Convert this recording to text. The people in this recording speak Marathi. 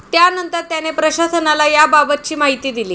त्यानंतर त्याने प्रशासनाला याबाबतची माहिती दिली.